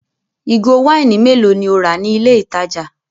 Ìgò wáìnì mélòó ni o rà ní ilé-ìtajà?